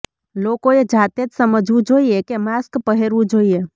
લોકોએ જાતે જ સમજવું જોઇએ કે માસ્ક પહેરવું જોઇએ